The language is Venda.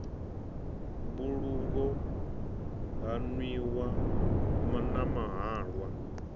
mbulungo ha nwiwa na mahalwa